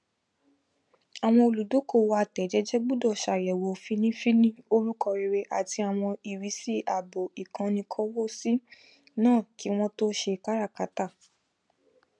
àwọn olùdókòwò atẹẹjẹjẹ gbọdọ ṣàyẹwò fínnífínní orúkọ rere àti àwọn ìrísí ààbò ikanniikowosi náà kí wọn tó ṣe káràkátà